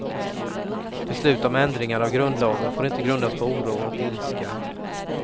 Beslut om ändringar av grundlagen får inte grundas på oro och ilska.